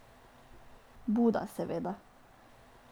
Buda, seveda.